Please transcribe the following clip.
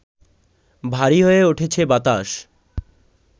ভারী হয়ে উঠেছে বাতাস